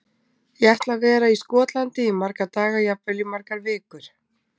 Ég ætla að vera í Skotlandi í marga daga, jafnvel í margar vikur.